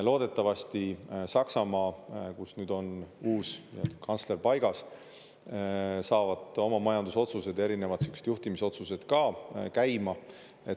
Loodetavasti Saksamaal, kus nüüd on uus kantsler paigas, saavad oma majandusotsuseid, erinevad juhtimisotsused ka käima.